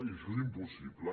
i això és impossible